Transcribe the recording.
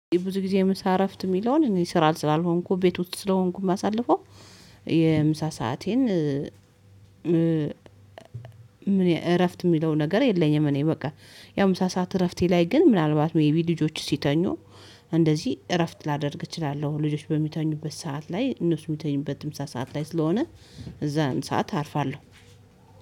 ብዙ ጊዜ ምሳ እረፍት የሚለውን እኔ ስራ ስላልሆንኩ ቤት ውስጥ ስለሆንኩም አሳልፎ የምሳ ሰአቴን እረፍት የሚለው ነገር የለኝም። እኔ በቃ የምሳ ሰዓት እረፍቴ ላይ ግን ምናልባት ሜይቢ ልጆች ሲተኙ እንደዚህ እረፍት ላደርግ እችላለሁ። ልጆች በሚተኙበት ሰዓት ላይ እነሱ የሚተኝበት ምሳ ሰዓት ላይ ስለሆነ እዛን ሰዓት አርፋለሁ።